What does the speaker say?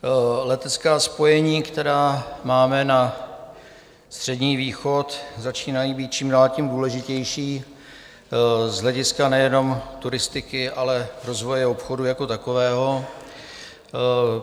Letecká spojení, která máme na Střední východ, začínají být čím dál tím důležitější z hlediska nejenom turistiky, ale rozvoje obchodu jako takového.